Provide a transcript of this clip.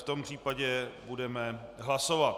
V tom případě budeme hlasovat.